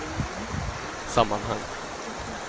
sammanhang